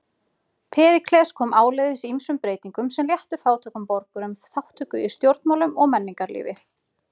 Períkles kom áleiðis ýmsum breytingum sem léttu fátækum borgurum þátttöku í stjórnmálum og menningarlífi.